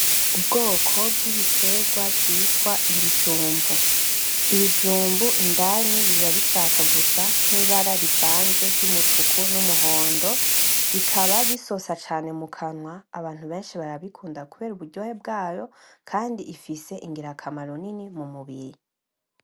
Ubwoko bw'ibiterwa vyitwa ibijumbu. Ibijumbu indani biba bishaka gusa nk'ibara rivanze ry'umutuku, n'umuhondo bikaba bisosa cane mu kanwa abantu benshi barabikunda kubera uburyohe bwayo kandi ifise ingirakamaro Nini mu mubiri.